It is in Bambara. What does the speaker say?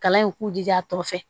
Kalan in k'u jija a tɔgɔ fɛ